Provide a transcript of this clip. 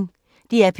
DR P1